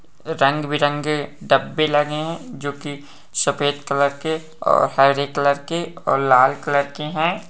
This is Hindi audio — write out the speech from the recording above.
रंगे बिरंगे डब्बे लगे हैं जो की सफ़ेद कलर के और हरे कलर के और लाल कलर के हैं ।